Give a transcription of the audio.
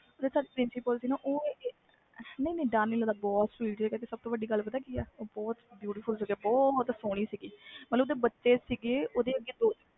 principal ਸੀ ਨਾ ਨਹੀਂ ਨਹੀਂ ਡਰ ਨਹੀਂ ਲਗਦਾ ਪਤਾ ਗੱਲ ਕਿ ਸੀ ਉਹ ਬਹੁਤ ਸਹੋਣੇ ਸੀ ਨਾਲੇ ਓਹਦੇ ਬੱਚੇ ਸੀ